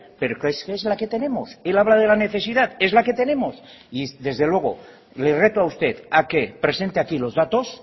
pero es que es la que tenemos él habla de la necesidad es la que tenemos y desde luego le reto a usted a que presente aquí los datos